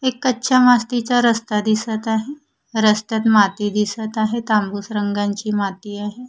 एक कच्च्या मातीचा रस्ता दिसत आहे रस्त्यात माती दिसत आहे तांबूस रंगांची माती आहे.